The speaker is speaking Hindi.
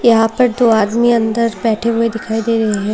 यहां पर दो आदमी अंदर बैठे हुए दिखाई दे रहे हैं।